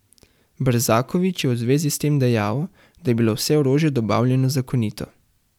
Brzaković je v zvezi s tem dejal, da je bilo vse orožje dobavljeno zakonito.